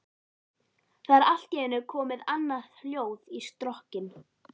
Það er allt í einu komið annað hljóð í strokkinn.